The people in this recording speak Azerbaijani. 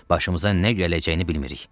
Başımıza nə gələcəyini bilmirik.